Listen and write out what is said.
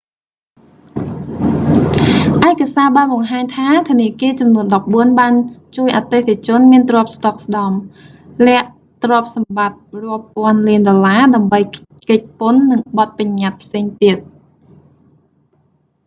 ឯកសារបានបង្ហាញថា ធនាគារចំនួនដប់បួនបានជួយអតិថិជនមានទ្រព្យស្ដុកស្ដម្ភ លាក់ទ្រព្យសម្បត្តិរាប់ពាន់លានដុល្លារ ដើម្បីគេចពន្ធ និងបទប្បញ្ញត្តិផ្សេងទៀត